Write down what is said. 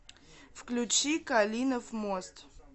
включи калинов мост